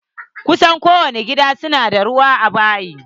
Kusan ko wani gida na da ruwa a bayi.